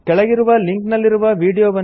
ಕೆಳಗಿರುವ ಲಿಂಕ್ ನಲ್ಲಿರುವ ವೀಡಿಯೊವನ್ನು ನೋಡಿ